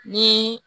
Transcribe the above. Ni